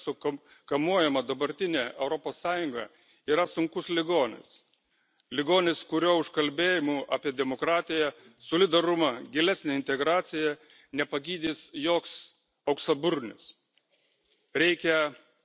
Neatrastos tapatybės kompleksų kamuojama dabartinė Europos Sąjunga yra sunkus ligonis ligonis, kurio užkalbėjimu apie demokratiją, solidarumą, gilesnę integraciją nepagydys joks auksaburnis.